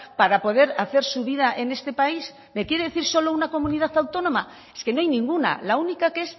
para poder hacer su vida en este país me quiere decir solo una comunidad autónoma es que no hay ninguna la única que